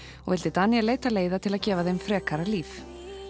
og vildi Daníel leita leiða til að gefa þeim frekara líf